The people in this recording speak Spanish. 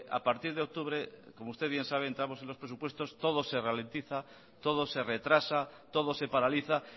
a partir de octubre como usted bien sabe entramos en los presupuestos todo se ralentiza todo se retrasa todo se paraliza